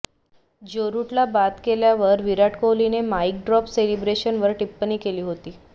ज्यो रुटला बाद केल्यावर विराट कोहलीने माईक ड्रॉप सेलिब्रेशनवर टिप्पणी केली होती